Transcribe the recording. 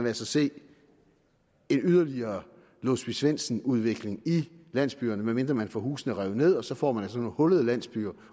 altså se en yderligere låsby svendsen udvikling i landsbyerne medmindre man får husene revet nederst så får man sådan nogle hullede landsbyer